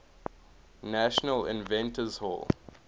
national inventors hall